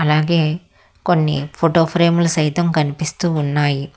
అలాగే కొన్ని photo frame లు సైతం కనిపిస్తు ఉన్నాయి.